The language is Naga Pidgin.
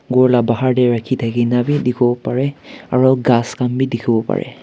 ghor la bahar dae rakhi thake nah bhi dekhevo parey aro ghas khan bhi dekhevo parey.